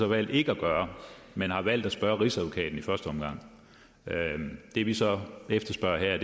valgt ikke at gøre men har valgt at spørge rigsadvokaten i første omgang det vi så efterspørger her er